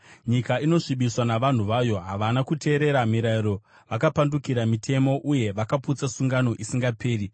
Nyika inosvibiswa navanhu vayo; havana kuteerera mirayiro, vakapandukira mitemo uye vakaputsa sungano isingaperi.